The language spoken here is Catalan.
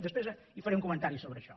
després faré un comentari sobre això